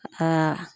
Aa